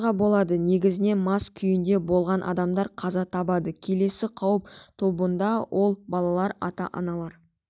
оқиға болады негізінен мас күйінде болған адамдар қаза табады келесі қауіп тобында ол балалар ата-аналар